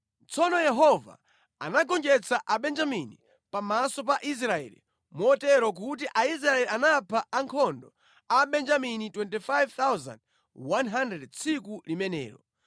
Tsono Yehova anagonjetsa Abenjamini pamaso pa Israeli motero kuti Aisraeli anapha ankhondo a Abenjamini 25,100 tsiku limenelo.